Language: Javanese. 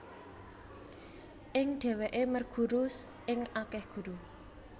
Ing dheweke merguru ing akeh guru